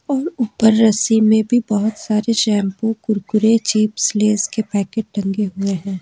ऊपर रस्सी में भी बहुत सारे शैंपू कुरकुरे चिप्स लेज के पैकेट टंगे हुए हैं।